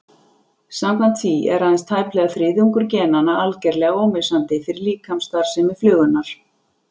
Samkvæmt því er aðeins tæplega þriðjungur genanna algerlega ómissandi fyrir líkamsstarfsemi flugunnar.